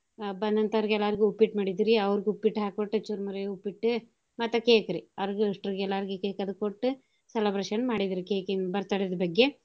ಬಂದಂತೋರ್ಗ ಎಲ್ಲಾರ್ಗೂ ಉಪ್ಪಿಟ್ ಮಾಡಿದ್ವಿ ರಿ ಅವರ್ಗ ಉಪ್ಪಿಟ್ ಹಾಕಿ ಕೊಟ್ಟ ಚುರುಮರಿ ಉಪ್ಪಿಟ್ ಮತ್ತ cake ರಿ ಅವ್ರಗೂ ಇಸ್ಟೂರ್ಗೂ ಎಲ್ಲಾರ್ಗೂ cake ಅದು ಕೊಟ್ಟ celebration ಮಾಡಿದ್ವಿ cake ಇಂದ್ birthday ದ್ ಬಗ್ಗೆ.